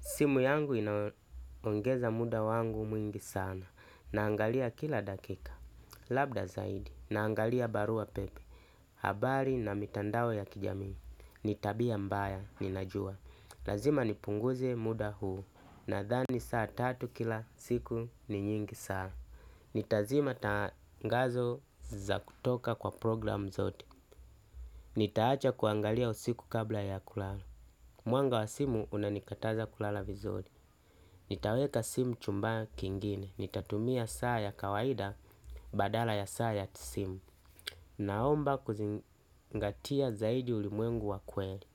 Simu yangu inaongeza muda wangu mwingi sana. Naangalia kila dakika. Labda zaidi. Naangalia barua pepe. Habari na mitandawe ya kijami. Nitabia mbaya. Ninajua. Lazima nipunguze muda huu. Na thani saa tatu kila siku ni nyingi saa. Nitazima tangazo za kutoka kwa program zote. Nitaacha kuangalia usiku kabla ya kulala. Muanga wa simu unanikataza kulala vizuri. Nitaweka simu chumba kingine, nitatumia saa ya kawaida badala ya saa ya sim. Naomba kuzingatia zaidi ulimwengu wakweli.